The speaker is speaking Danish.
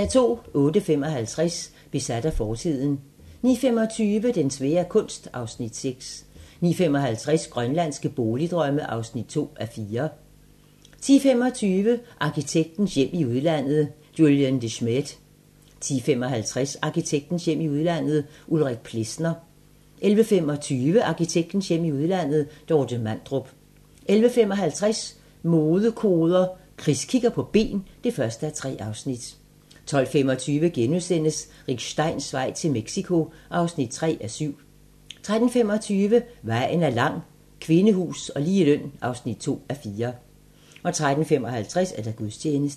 08:55: Besat af fortiden 09:25: Den svære kunst (Afs. 6) 09:55: Grønlandske boligdrømme (2:4) 10:25: Arkitektens hjem i udlandet: Julien De Smedt 10:55: Arkitektens hjem i udlandet: Ulrik Plesner 11:25: Arkitektens hjem i udlandet: Dorte Mandrup 11:55: Modekoder - Chris kigger på ben (1:3) 12:25: Rick Steins vej til Mexico (3:7)* 13:25: Vejen er lang - Kvindehus og ligeløn (2:4) 13:55: Gudstjeneste